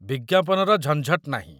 ବିଜ୍ଞାପନର ଝଞ୍ଝଟ ନାହିଁ।